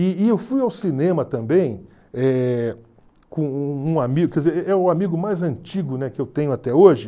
E e eu fui ao cinema também eh com um um amigo, quer dizer é é o amigo mais antigo que eu tenho até hoje.